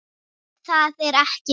En það er ekki víst.